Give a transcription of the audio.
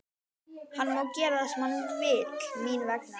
Hann má gera það sem hann vill mín vegna.